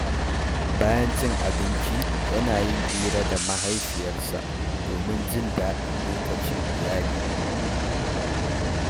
Bayan cin abinci, yana yin hira da mahaifiyarsa domin jin daɗin lokacin iyali.